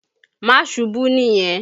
Má ṣubú nìyẹn!